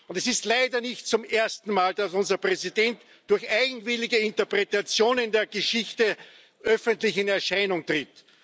Und es ist leider nicht zum ersten Mal, dass unser Präsident durch eigenwillige Interpretationen der Geschichte öffentlich in Erscheinung tritt.